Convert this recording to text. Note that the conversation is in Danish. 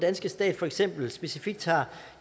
danske stat for eksempel specifikt har